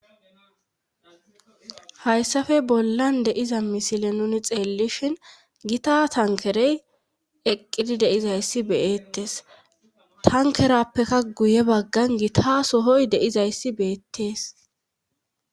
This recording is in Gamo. hayssafe bollan deiza misile nuni xeellishin gita tankerey eqqidi deizayssi beyettes tankerappeka guye baggan gita sohoy deizayssi beettees